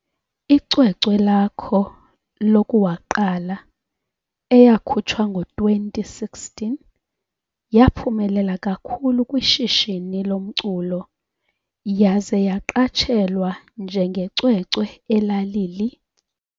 Icwecwe lakho lokuwaqala, eyakhutshwa ngo 2016, yaphumelela kakhulu kwishishini lomculo yaze yaqatshelwa njengecwecwe elalili